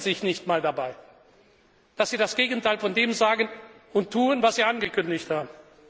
Und sie schämen sich nicht einmal dafür, dass sie das Gegenteil von dem sagen und tun, was sie angekündigt haben.